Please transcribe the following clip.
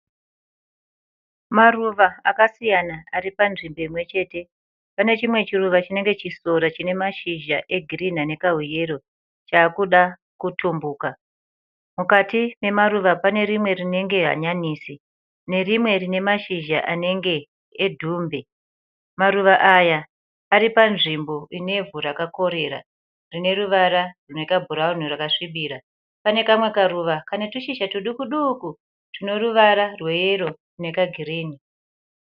Maruva akasiyana aripanzvimbo imwechete. Pane chimwe chiruva chinenge chisora chinemashizha egirinhi anekahuyero chaakuda kutumbuka. Mukati nemaruva panerimwe rinenge hanyanisi nerimwe rinemashizha anenge edhumbe. Maruva aya aripanzvimbo inevhu rakakorera rineruvara rwekabhurauni rwakasvibira. Panekamwe karuva kane tushizha tudukuduku tuneruvara rweyero nekagirinhi.